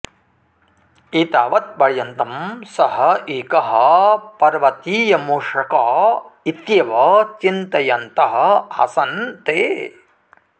एतावत्पर्यन्तं सः एकः पर्वतीयमूषक इत्येव चिन्तयन्तः आसन् ते